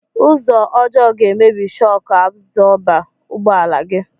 Ụzọ ọjọọ ga emebi shọk abzọba ụgbọ ala gi